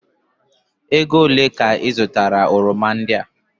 Ego olee ka ị zụtara oroma ndị a?